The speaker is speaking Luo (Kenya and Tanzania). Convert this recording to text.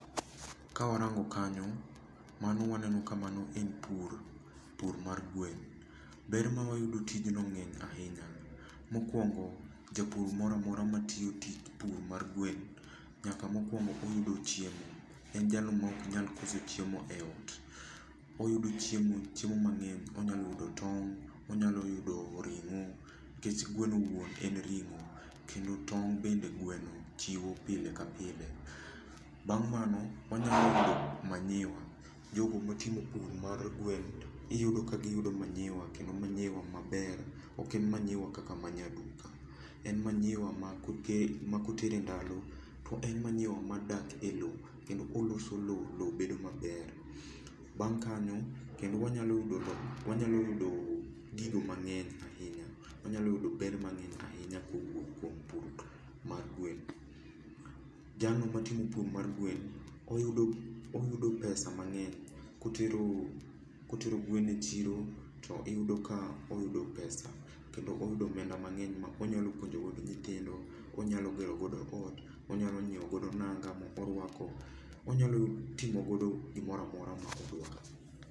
Kawarango kanyo, mano waneno ka mano en pur, pur mar gwen. Ber ma wayudo e tijno ng'eny ahinya, mokuongo jopur moro amora matiyo tij pur mar gwen nyaka mokuongo oyudo chiemo. En jalo maok nyal koso chiemo eot. Oyudo chiemo, chiemo mang'eny onyalo yudo tong', onyalo yudo ring'o, nikech gweno wuon en ring'o kendo tong' bende gweno chiwo pile ka pile. Bang' mano wanyalo yudo manyiwa. Jo go matimo pur mar gwen, iyudo ka yudo manyiwa kendo manyiwa maber ok en manyiwa kaka mar nyar duka, en manyiwa ma koter e ndalo to en manyiwa ma dak elo kendo oloso lowo lowo bedo maber. Bang' kanyo kendo wanyalo yudo gigo mang'eny ahinya. Wanyalo yudo ber mang'eny ahinya kuom pur mar gwen. Jalno matimo pur mar gwen oyudo pesa mang'eny. Kotero gwen chiro to iyudo ka oyudo pesa, kendo oyudo omenda mang'eny onyalo puonjo godo nyithindo, onyalo gero godo ot, onyalo nyiewo godo nanga moruako, onyalo timo godo gimoro amora ma odwaro.